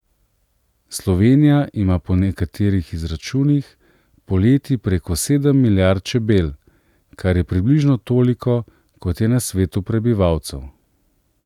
Slovenija ima po nekaterih izračunih poleti preko sedem milijard čebel, kar je približno toliko, kot je na svetu prebivalcev.